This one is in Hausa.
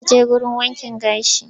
Za ta je wurin wankin gashi.